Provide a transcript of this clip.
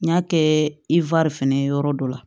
N y'a kɛ fɛnɛ ye yɔrɔ dɔ la